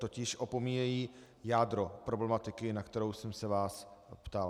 Totiž opomíjejí jádro problematiky, na kterou jsem se vás ptal.